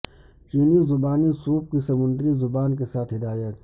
چینی زبانی سوپ کی سمندری زبان کے ساتھ ہدایت